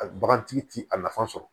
A bagantigi ti a nafa sɔrɔ